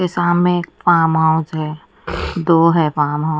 सामने एक farm house है दो है फॉर्म हाउस ।